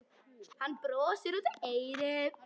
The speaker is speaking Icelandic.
Hann brosir út að eyrum.